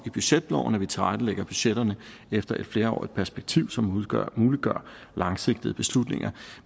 i budgetloven at vi tilrettelægger budgetterne efter et flerårigt perspektiv som muliggør muliggør langsigtede beslutninger